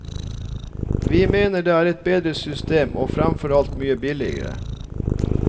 Vi mener det er et bedre system, og fremfor alt mye billigere.